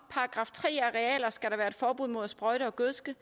at forbud mod at sprøjte og gødske